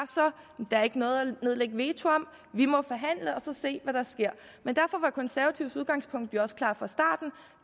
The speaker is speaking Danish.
der ikke var noget at nedlægge veto om vi må forhandle og så se hvad der sker men derfor var konservatives udgangspunkt jo også klart fra starten